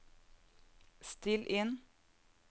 still inn